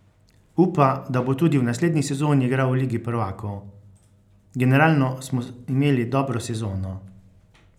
Upa, da bo tudi v naslednji sezoni igral v Ligi prvakov: "Generalno smo imeli dobro sezono.